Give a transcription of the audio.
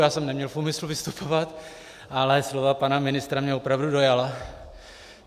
Já jsem neměl v úmyslu vystupovat, ale slova pana ministra mě opravdu dojala.